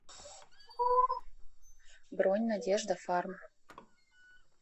бронь надежда фарм